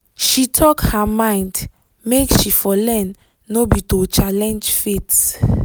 she talk her mind make she for learn no be to challenge faith